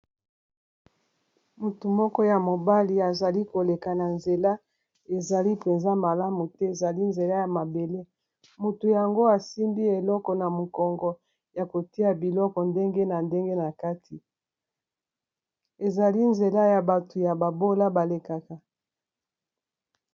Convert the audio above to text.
Mutu moko ya mobali azali koleka na nzela ezali mpenza malamu te ezali nzela ya mabele motu yango asimbi eloko na mokongo ya kotia biloko ndenge na ndenge na kati ezali nzela ya batu ya babola balekaka.